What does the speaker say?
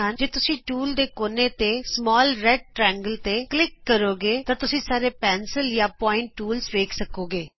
ਜੇ ਤੁਸੀਂ ਟੂਲ ਦੇ ਕੋਨੇ ਤੇ ਨਿੱਕੇ ਲਾਲ ਤਿਕੋਣ ਉਤੇ ਕਲਿਕ ਕਰੋਗੇ ਤਾਂ ਤੁਸੀਂ ਸਾਰੇ ਪੈਨਸਿਲ ਜਾਂ ਪੋਆਇੰਟ ਟੂਲਜ਼ ਵੇਖ ਸਕੋਗੇ